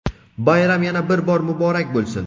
Bayram yana bir bor muborak bo‘lsin!.